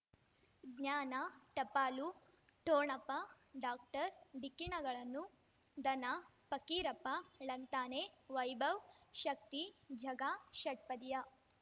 ಜ್ಞಾನ ಟಪಾಲು ಠೊಣಪ ಡಾಕ್ಟರ್ ಢಿಕ್ಕಿ ಣಗಳನು ಧನ ಫಕೀರಪ್ಪ ಳಂತಾನೆ ವೈಭವ್ ಶಕ್ತಿ ಝಗಾ ಷಟ್ಪದಿಯ